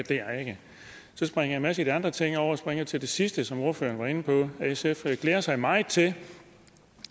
så springer jeg en masse af de andre ting over og springer til det sidste som ordføreren var inde på sf glæder sig meget til